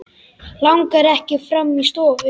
Langar ekki fram í stofu.